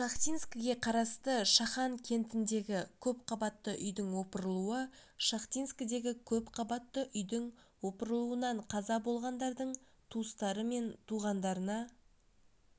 шахтинскіге қарасты шахан кентіндегі көпқабатты үйдің опырылуы шахтинскідегі көпқабатты үйдің опырылуынан қаза болғандардың туыстары мен туғандарына